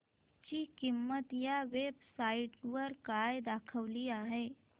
ची किंमत या वेब साइट वर काय दाखवली आहे